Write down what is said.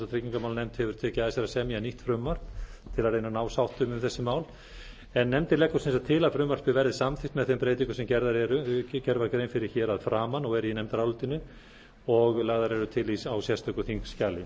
tryggingamálanefnd hefur tekið að sér að semja nýtt frumvarp til að reyna að ná sáttum um þessi mál nefndin leggur sem sagt til að frumvarpið verði samþykkt með þeim breytingum sem gerð var grein fyrir hér að framan og eru í nefndarálitinu og og laga eru til á sérstöku þingskjali